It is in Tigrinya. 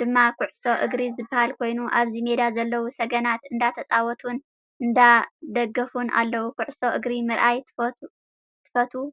ድማ ኩዕሶ እግሪ ዝበሃል ኮይኑ ኣብዚ ሜዳ ዘለው ሰገናት እንዳተፃወቱን እንዳደገፉን ኣለው። ኩዕሶ እግሪ ምርኣይ ትፈትው?